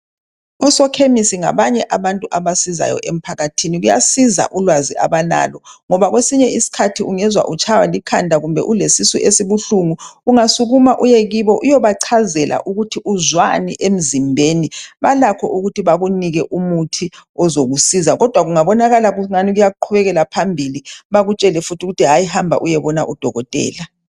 Osekhemisi ngabanye abantu abasizayo emphakathini kuyasiza ulwazi abalalo ngoba kwesinye iskhathi ungezwa utshaywa likhanda kumbe ulesisu esibuhlungu ungasukuma uyekibo uyebachazela ukuthi uzwani emzimbeni balakho ukuthi bakunike umuthi ozokusiza kodwa kungabonakala ukuthi engani kuqhubekela phambili bakutshele futhi hayi hamba uyebona kudokotela.